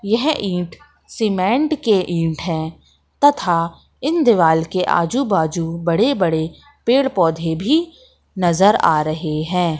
यह ईंट सीमेंट के ईंट हैं तथा इन दीवाल के आजू बाजू बड़े बड़े पेड़ पौधे भी नज़र आ रहे हैं।